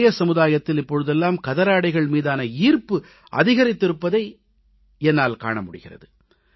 இளைய சமுதாயத்தினரிடையே இப்போதெல்லாம் கதராடைகள் மீதான ஈர்ப்பு அதிகரித்திருப்பதை என்னால் காண முடிகிறது